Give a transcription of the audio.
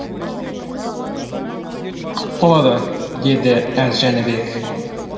құп болады деді әз жәнібек